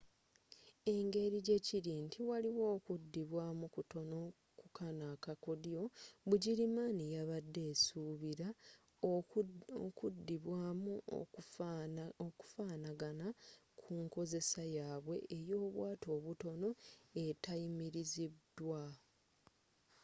engeri jjekiri nti waliwo okuddibwamu kutono ku kano akakoddyo bugirimaani yabade esuubira okuddibwamu okufaanagana ku nkozesa yabwe eyobwato obutono etayimiriziddwa